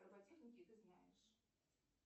роботехники ты знаешь